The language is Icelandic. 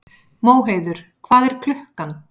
Móheiður, hvað er klukkan?